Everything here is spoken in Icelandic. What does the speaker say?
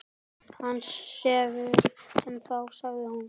Hann sefur ennþá, sagði hún.